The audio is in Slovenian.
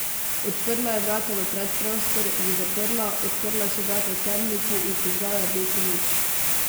Odprla je vrata v predprostor, jih zaprla, odprla še vrata temnice in prižgala rdečo luč.